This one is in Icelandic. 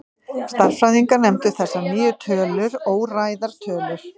Stærðfræðingar nefndu þessar nýju tölur óræðar tölur.